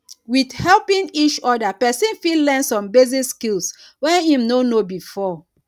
with helping each oda person fit learn some basic skill wey im no know before